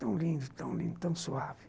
Tão lindo, tão lindo, tão suave.